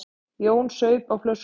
Jón saup á flöskunni.